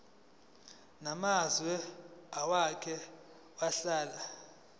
namazwe owake wahlala